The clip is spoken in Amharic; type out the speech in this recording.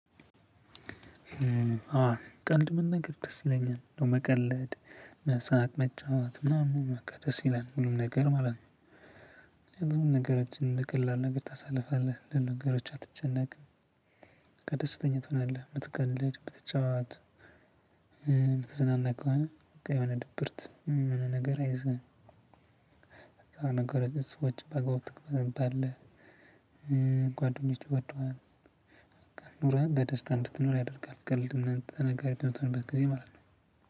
ቀልድ መናገር ደስ ይለኛል እንደው መቀለድ መሳቅ መጫወት ምናምን በቃ ደስ ይላል ሁሉም ነገር ማለት ነው። ምክንያቱም ነገሮችን በቀላል ነገር ታሳልፋለህ ለነገሮች አትጨነቅም። በቃ ደስተኛ ትሆናለህ ብትቀልድ ብትጫወት። ብትዝናና የሆነ በቃ የሆነ ድብርት የሆነ ነገር አይዝህም። ነገር ሰዎች በጎ ትቅበል አለ። ጓደኞች ይወዱሀል። በቃ ኑሮህን በደስታ እንድትኖር ያደርጋል። ቀልድ ምናምን ተናጋሪ በምትሆንበት ጊዜ ማለት ነው።